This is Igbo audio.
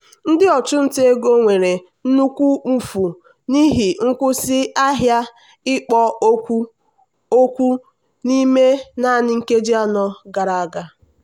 ndị ọchụnta ego nwere nnukwu mfu n'ihi nkwụsị ahịa ikpo okwu okwu n'ime naanị nkeji anọ gara aga.